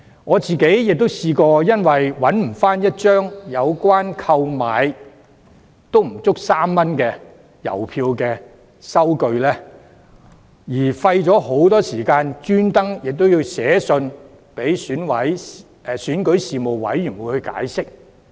我亦曾因為找不到一張購買3元以下的郵票的收據，便花了很多時間特意致函選舉事務處解釋。